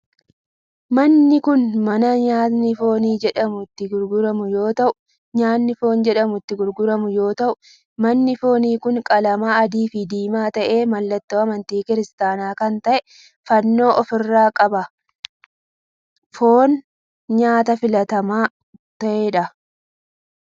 Manni kun mana nyaatni foon jedhamu itti gurguramu yoo ta'u manni foonii kun qalama adii fi diimaa ta'ee mallattoo amantii kiristaanaa kan ta'e fannoo of irraa qaba. Foon nyaata filatamaa ta'edha.